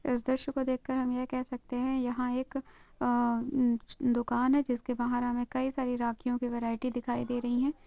इस दृश्य को देखकर हम ये कह सकते है | यहा एक अअ दुकान है जिस के बाहर हमे कई सारी राखियों की वेराईटी दिखाई दे रही है।